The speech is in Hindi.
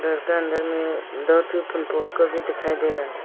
लगता है अंदर में दो दिखाई दे रहा है।